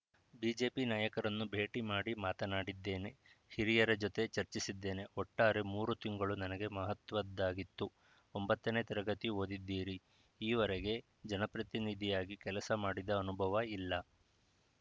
BJP ನಾಯಕರನ್ನು ಭೇಟಿ ಮಾಡಿ ಮಾತನಾಡಿದ್ದೇನೆ ಹಿರಿಯರ ಜೊತೆ ಚರ್ಚಿಸಿದ್ದೇನೆ ಒಟ್ಟಾರೆ ಮೂರು ತಿಂಗಳು ನನಗೆ ಮಹತ್ವದ್ದಾಗಿತ್ತು ಒಂಬತ್ತನೇ ತರಗತಿ ಓದಿದ್ದೀರಿ ಈವರೆಗೆ ಜನಪ್ರತಿನಿಧಿಯಾಗಿ ಕೆಲಸ ಮಾಡಿದ ಅನುಭವ ಇಲ್ಲ